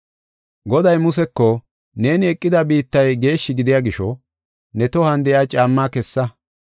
“Goday Museko, ‘Neeni eqida biittay geeshshi gidiya gisho ne tohuwan de7iya caammaa kessa.